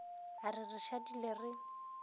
a re re šadile re